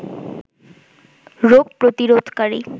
রোগ প্রতিরোধকারী